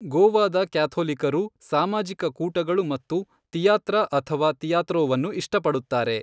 ಗೋವಾದ ಕ್ಯಾಥೋಲಿಕರು ಸಾಮಾಜಿಕ ಕೂಟಗಳು ಮತ್ತು ತಿಯಾತ್ರ ಅಥವಾ ತಿಯಾತ್ರೋವನ್ನು ಇಷ್ಟಪಡುತ್ತಾರೆ.